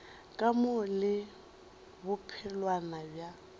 ka mo le bophelwana bja